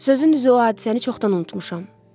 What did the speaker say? Sözün düzü o hadisəni çoxdan unutmuşam.